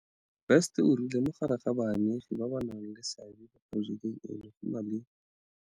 Best o rile mo gare ga baamegi ba ba nang le seabe mo porojekeng eno go na le.